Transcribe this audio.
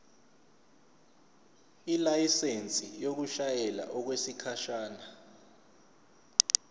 ilayisensi yokushayela okwesikhashana